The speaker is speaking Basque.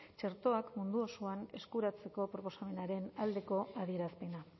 txertoak mundu osoan eskuratzeko proposamenaren aldeko adierazpena